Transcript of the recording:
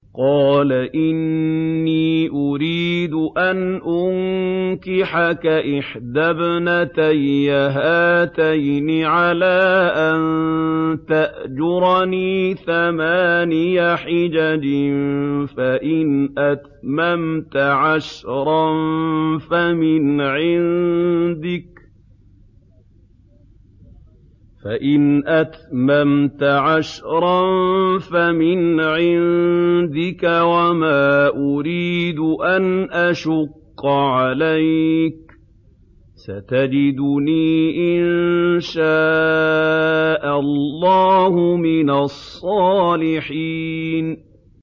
قَالَ إِنِّي أُرِيدُ أَنْ أُنكِحَكَ إِحْدَى ابْنَتَيَّ هَاتَيْنِ عَلَىٰ أَن تَأْجُرَنِي ثَمَانِيَ حِجَجٍ ۖ فَإِنْ أَتْمَمْتَ عَشْرًا فَمِنْ عِندِكَ ۖ وَمَا أُرِيدُ أَنْ أَشُقَّ عَلَيْكَ ۚ سَتَجِدُنِي إِن شَاءَ اللَّهُ مِنَ الصَّالِحِينَ